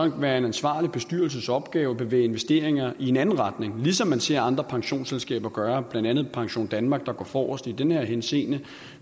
en ansvarlig bestyrelses opgave at bevæge investeringerne i en anden retning ligesom man ser andre pensionsselskaber gøre blandt andet pensiondanmark der går forrest i den henseende